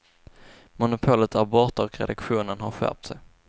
Monopolet är borta och redaktionen har skärpt sig.